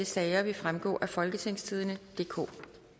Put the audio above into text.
sager vil fremgå af folketingstidende DK